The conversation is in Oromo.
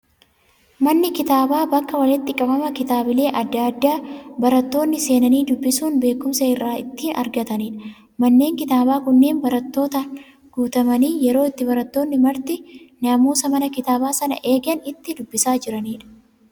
Manni kitaabaa bakka walitti qabama kitaabilee addaa addaa, barattoonni seenanii dubbisuun, beekumsa irraa ittiin argatanidha. Manneen kitaabaa kunneen barattootaan guutamanii yeroo itti barattoonni marti naamusa mana kitaabaa sanaa eeganii itti dubbisaa jiranidha.